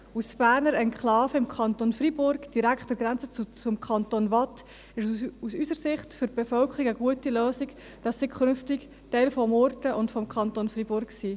Als bernische Enklave im Kanton Freiburg, direkt an der Grenze zum Kanton Waadt, ist es aus unserer Sicht für die Bevölkerung eine gute Lösung, dass sie künftig Teil von Murten und des Kantons Freiburg ist.